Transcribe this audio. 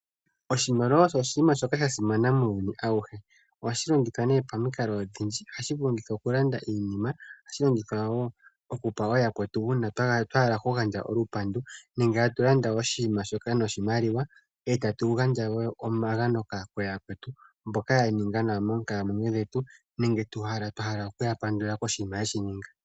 Oshimaliwa osho oshinima shoka sha simana muuyuni awuhe. Ohashi longithwa nee pamikalo odhindji, ohashi longithwa oku landa iinima, ohashi longithwa wo oku pa wo yakwe uuna twa hala oku gandja olupandu nenge tatu landa oshinima shoka noshimaliwa, e tatu gandja wo omagano kooyakwetu mboka ya ninga nawa moonkalamwenyo dhetu nenge twa hala oku ya pandula koshinima ye shi ninga.